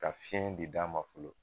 Ka fiɲɛ de d'a ma fɔlɔ.